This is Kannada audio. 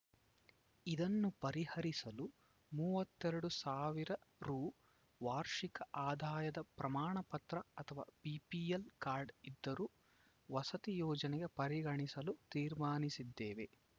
ಇದನ್ನು ಪರಿಹರಿಸಲು ಮೂವತ್ತೆರಡು ಸಾವಿರ ರು ವಾರ್ಷಿಕ ಆದಾಯದ ಪ್ರಮಾಣ ಪತ್ರ ಅಥವಾ ಬಿಪಿಎಲ್‌ ಕಾರ್ಡ್‌ ಇದ್ದರೂ ವಸತಿ ಯೋಜನೆಗೆ ಪರಿಗಣಿಸಲು ತೀರ್ಮಾನಿಸಿದ್ದೇವೆ